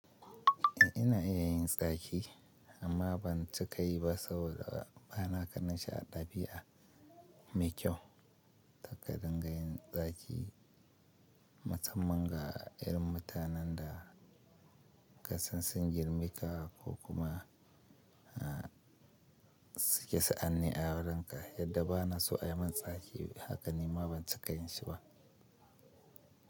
Ina iya yin tsaki amma ban cika yi ba saboda bana ganin shi a ɗabi'a mai kyau kar ka dinga yin zaki musamman ga yar mutanen da kasan sun girma ka ko kuma suke sa'anni a wurinka yadda ba na so a yi min zaki haka nima ban cika yin shi ba.